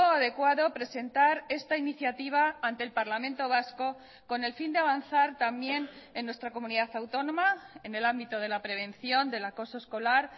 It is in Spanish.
adecuado presentar esta iniciativa ante el parlamento vasco con el fin de avanzar también en nuestra comunidad autónoma en el ámbito de la prevención del acoso escolar